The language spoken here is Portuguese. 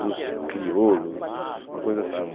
dos crioulos, uma coisa assim.